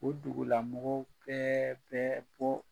O dugulamɔgɔw bɛɛ bɛ bɔ